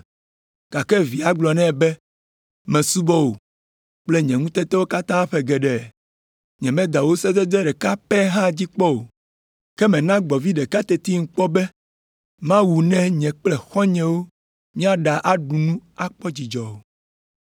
Gake via gblɔ nɛ be, ‘Mesubɔ wò kple nye ŋutetewo katã ƒe geɖe. Nyemeda wò sedede ɖeka pɛ hã dzi kpɔ o, ke mèna gbɔ̃vi ɖeka tetim kpɔ be mawu ne nye kple xɔ̃nyewo míaɖa nu aɖu akpɔ dzidzɔ o.